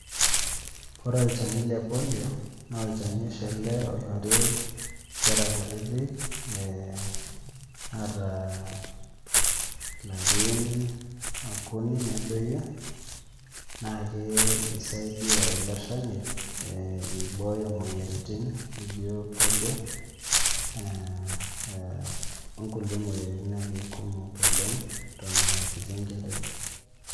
Kore olchani le polio naa olchani oshi ele oishori nkera kutitik ee naata ilarin okuni nedoyio naake isaidia ilo shani ee ibooyo moyiaritin nijo polio ee ee o nkulie moyiaritin kumok oleng' eton aa kiti enkerai.